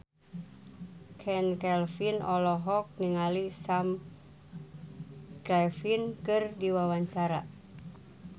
Chand Kelvin olohok ningali Sam Claflin keur diwawancara